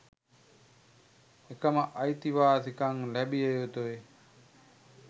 එකම අයිතිවාසිකම් ලැබිය යුතුයි.